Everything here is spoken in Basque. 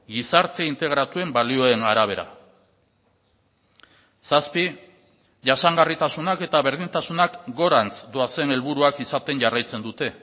gizarte integratuen balioen arabera zazpi jasangarritasunak eta berdintasunak gorantz doazen helburuak izaten jarraitzen dute